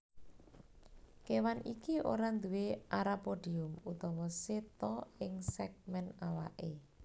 Kéwan iki ora nduwé arapodium utawa seta ing sègmèn awaké